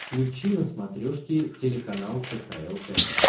включи на смотрешке телеканал кхл тв